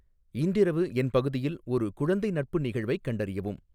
இன்றிரவு என் பகுதியில் ஒரு குழந்தை நட்பு நிகழ்வைக் கண்டறியவும்